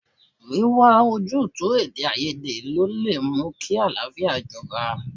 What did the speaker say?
Wíwá ojútùú sí Èdèáiyedé ló lè mú kí àlàáfíà jọba.